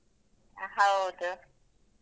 ಹೌದು.